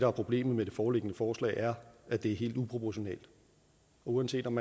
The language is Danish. er problemet med det foreliggende forslag er at det er helt uproportionelt uanset om